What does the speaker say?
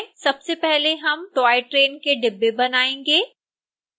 सबसे पहले हम टॉय ट्रेन के डिब्बे बनाएँगे